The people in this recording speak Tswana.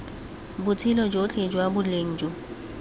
botshelo jotlhe jwa boleng jo